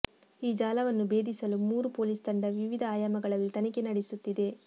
ಈ ಜಾಲವನ್ನು ಭೇದಿಸಲು ಮೂರು ಪೊಲೀಸ್ ತಂಡ ವಿವಿಧ ಆಯಾಮಗಳಲ್ಲಿ ತನಿಖೆ ನಡೆಸುತ್ತಿದೆ